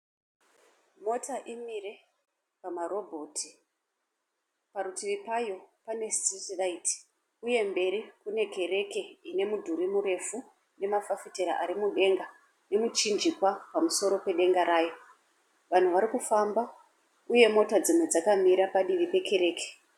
Mota imire pama roboti parutivi rwayo pane street light, uye mberi kune kereke ine mudhuri murefu nemafafitera ari mudenga uye nemuchinjikwa pamusoro pedenga rayo. Vanhu vari kufamba uye motokari dzakamira padivi pekereke.